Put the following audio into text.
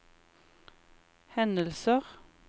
hendelser